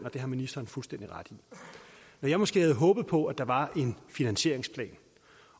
og det har ministeren fuldstændig ret i når jeg måske havde håbet på at der var en finansieringsplan